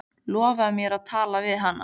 Lofaðu mér að tala við hana.